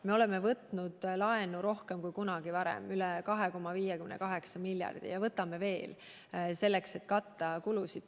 Me oleme võtnud laenu rohkem kui kunagi varem, üle 2,58 miljardi euro, ja võtame veel, et katta kulusid.